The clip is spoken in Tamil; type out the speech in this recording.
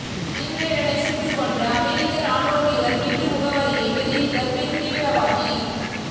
பின்லேடனை சுட்டுக்கொன்ற அமெரிக்க ராணுவ வீரர் வீட்டு முகவரியை வெளியிட்ட பெண் தீவிரவாதி